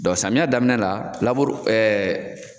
Dɔn samiyɛ daminɛ la laburu ɛɛ